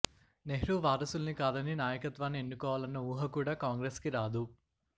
నెహ్రూ వారసుల్ని కాదని నాయకత్వాన్ని ఎన్నుకోవాలన్న ఊహకూడా కాంగ్రెస్ కి రాదు